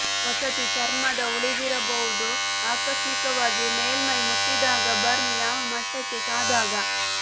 ವಸತಿ ಚರ್ಮದ ಉಳಿದಿರಬಹುದು ಆಕಸ್ಮಿಕವಾಗಿ ಮೇಲ್ಮೈ ಮುಟ್ಟಿದಾಗ ಬರ್ನ್ ಯಾವ ಮಟ್ಟಕ್ಕೆ ಕಾದಾಗ